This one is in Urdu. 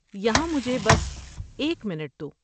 یہاں مجھے بس ایک منٹ دو۔